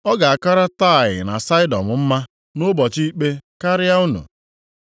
Ọ ga-akara Taịa na Saịdọn mma nʼụbọchị ikpe karịa unu.